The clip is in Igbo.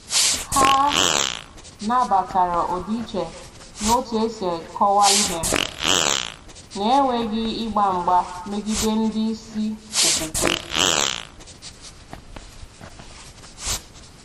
Hà nabatara ọdịiche n’otú e si kọwaa ihe, na-enweghị ịgba mgba megide ndị isi okwukwe.